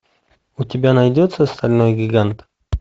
у тебя найдется стальной гигант